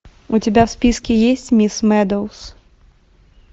у тебя в списке есть мисс медоуз